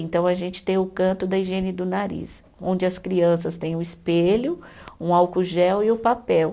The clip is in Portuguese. Então, a gente tem o canto da higiene do nariz, onde as crianças têm o espelho, um álcool gel e o papel.